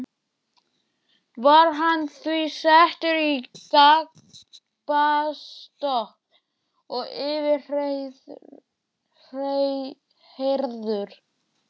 Var hann því settur í gapastokk og yfirheyrður.